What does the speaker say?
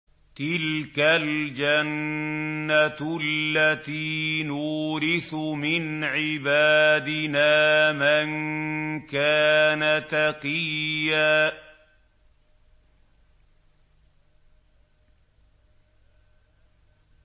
تِلْكَ الْجَنَّةُ الَّتِي نُورِثُ مِنْ عِبَادِنَا مَن كَانَ تَقِيًّا